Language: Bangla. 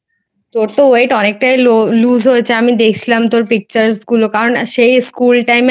তোর তো Weight অনেকটাই lose হয়েছে. আমি দেখলাম তোর Pictures গুলো.কারণ School time এ